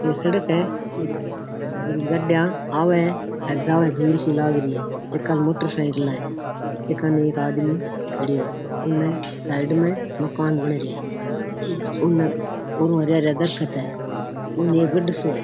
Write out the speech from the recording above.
ये सड़क है गाड़ियां आवे और जावे भीड़ सी लाग री है एकानी मोटरसाइकिला है एकानी आदमी खड़या है ऊमे साइड में मकान बन रियो है उन ओरु हरिया हरिया दरकत है उन एक गढ़ सो है।